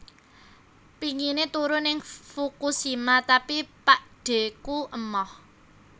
Pingine turu ning Fukushima tapi pakdheku emoh